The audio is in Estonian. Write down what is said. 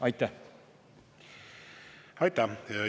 Aitäh!